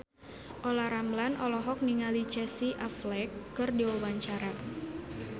Olla Ramlan olohok ningali Casey Affleck keur diwawancara